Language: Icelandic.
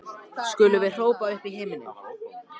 skulum við hrópa upp í himininn.